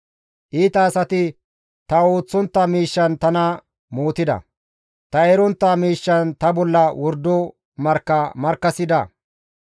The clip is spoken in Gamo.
Iita asati ta ooththontta miishshan tana mootida; ta erontta miishshan ta bolla wordo markka markkasida.